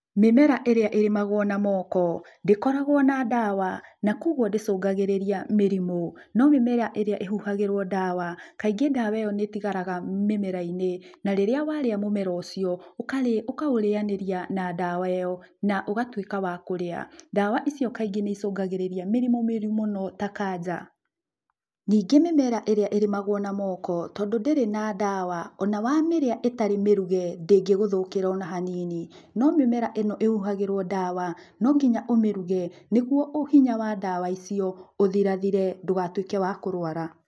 Mĩmera ĩrĩa ĩrĩmagũo na moko, ndĩkoragũo na ndawa na kuoguo ndĩcũngagĩrĩria mĩrimũ. No mĩmera ĩrĩa ĩhuhagĩrũo ndawa, kaingĩ ndawa ĩyo nĩ ĩtigaraga mĩmera-inĩ, na rĩrĩa warĩa mũmera ũcio, ũkaurĩanĩria na dawa ĩyo, na ũgatuĩka wa kũrĩa. Ndawa icio kaingĩ nĩicũngagĩrĩria mĩrimũ mĩũru mũno ta kanja. Ningĩ mĩmera ĩrĩa ĩrĩmagũo na moko, tondũ ndĩrĩ na ndawa, ona wamĩrĩa ĩtarĩ mĩruge ndĩngĩgũthũkĩra ona hanini. No mĩmera ĩno ĩhuhagĩrũo ndawa, no nginya umĩruge, nĩguo hinya wa ndawa icio, ũthirathire ndũgatuĩke wa kũrũara